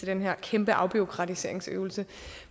den her kæmpe afbureaukratiseringsøvelse